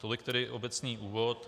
Tolik tedy obecný úvod.